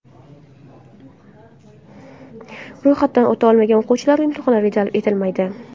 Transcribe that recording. Ro‘yxatdan o‘ta olmagan o‘quvchilar imtihonlarga jalb etilmaydi!